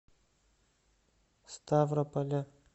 ставрополя